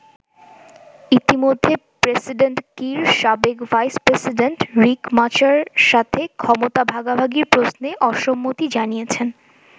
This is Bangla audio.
ইতিমধ্যে প্রেসিডেন্ট কির সাবেক ভাইস প্রেসিডেন্ট রিক মাচারের সাথে ক্ষমতা ভাগাভাগির প্রশ্নে অসম্মতি জানিয়েছেন।